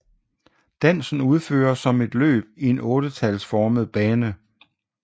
Dansen udføres som et løb i en ottetalsformet bane